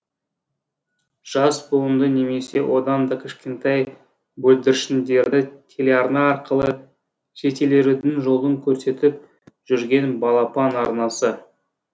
жас буынды немесе одан да кішкентай бүлдіршіндерді телеарна арқылы жететелеудің жолын көрсетіп жүрген балапан арнасы